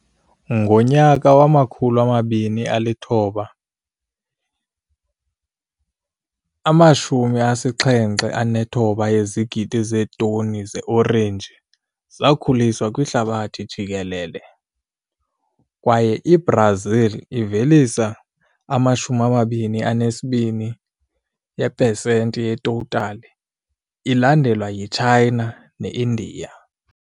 Ngo-2019, i-79 yezigidi zeetoni zeeorenji zakhuliswa kwihlabathi jikelele, kwaye iBrazil ivelisa i-22 yepesenti yetotali, ilandelwa yi-China ne-Indiya .